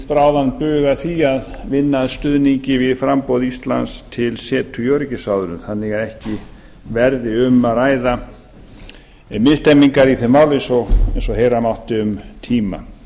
undið bráðan bug að því að vinna að stuðningi við framboð íslands til setu í öryggisráðinu þannig að ekki verði um að ræða í því máli eins og heyra mátti um tíma